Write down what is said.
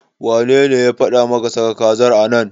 Wanene ya faɗa maka saka kazar a nan?